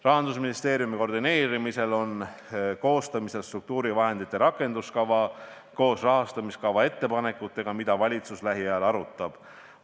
Rahandusministeeriumi koordineerimisel on koostamisel struktuurivahendite rakenduskava koos rahastamiskava ettepanekutega, mida valitsus lähiajal arutab.